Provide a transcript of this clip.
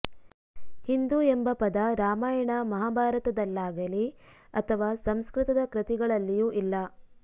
ಹಿಂದೂ ಎಂಬ ಪದ ರಾಮಯಾಣ ಮಹಾಭಾರತದಲ್ಲಾಗಲಿ ಅಥವಾ ಸಂಸ್ಕೃತದ ಕೃತಿಗಳಲ್ಲಿಯೂ ಇಲ್ಲ